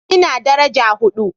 Ina daraja hudu